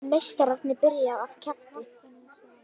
Meistararnir byrja af krafti